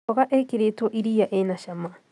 Mboga ĩkĩrĩtwo iria ĩna cama